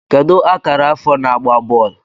Kedu akara afọ na-agba bọọlụ